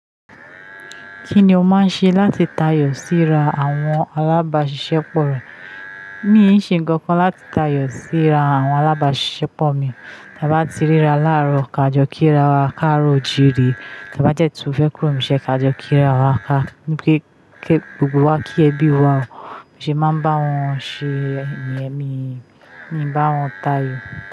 Kí ni o máa ń ṣe láti tayọ síra àwọn alábàáṣiṣẹ́ pọ̀ rẹ? Mii ṣe nǹkan kan láti tayọ síra àwọn alábàáṣiṣẹ́ pọ̀ mi. Ta bá ti ríra láàárọ̀, ka jọ kíra wa, káàro òjìire. Ta bá dẹ́ tún fẹ́ kúrò, n bi iṣe ka jọ kíra, wá, ní pẹ́, ki, gbogbo wa kí ẹbí wa. Bi mo ṣe máa ń bá wọn ṣe, niyen, mi n, mi ń bá wọn tayọ.